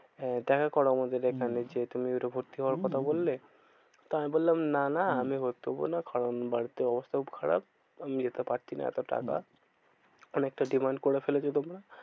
আহ দেখা করো আমাদের এখানে। যেহেতু তুমি ভর্তি হওয়ার হম হম কথা বললে। তা আমি বললাম না না হম ভর্তি হবো না, কারণ বাড়িতে অবস্থা খুব খারাপ আমি যেতে পারছি না। এত টাকা অনেকটা demand করে ফেলেছো তোমরা।